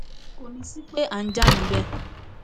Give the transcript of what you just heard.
kò ní í sí pé à ń jà níbẹ